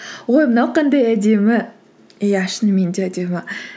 ой мынау қандай әдемі иә шынымен де әдемі